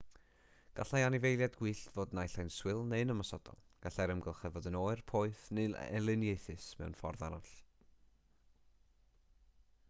gallai anifeiliaid gwyllt fod naill ai'n swil neu'n ymosodol gallai'r amgylchedd fod yn oer poeth neu'n elyniaethus mewn ffordd arall